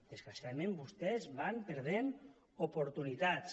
desgraciadament vostès van perdent oportunitats